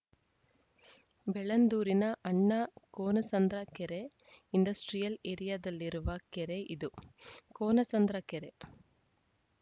ಬೆಳ್ಳಂದೂರಿನ ಅಣ್ಣ ಕೋನಸಂದ್ರ ಕೆರೆ ಇಂಡಸ್ಟ್ರಿಯಲ್‌ ಏರಿಯಾದಲ್ಲಿರುವ ಕೆರೆ ಇದು ಕೋನಸಂದ್ರ ಕೆರೆ